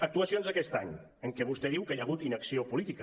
actuacions d’aquest any en què vostè diu que hi ha hagut inacció política